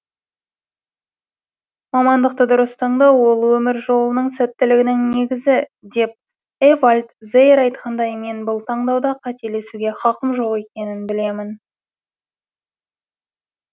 мамандықты дұрыс таңдау ол өмір жолының сәттілігінің негізі деп эвальд зеер айтқандай мен бұл таңдауда қателесуге хақым жоқ екенін білемін